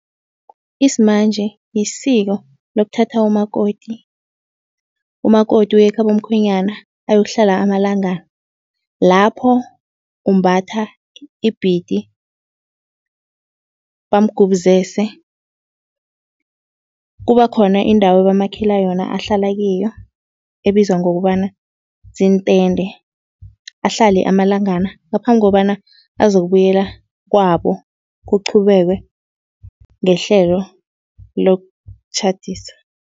Isimanje lisiko lokuthatha umakoti. Umakoti uyekhabo mkhwenyana ayokuhlala amalangana. Lapho umbatha ibhidi bamgubuzese. Kuba khona indawo ebamakhela yona ahlala kiyo ebizwa ngokobana ziintende, ahlale amalangana ngaphambi kobana azokubuyela kwabo kuqhubekwe ngehlelo lokutjhadisa.